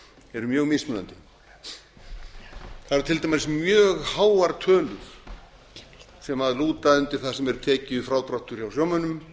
eru mjög mismunandi það eru til dæmis mjög háar tölur sem lúta undir það sem er tekjufrádráttur hjá sjómönnum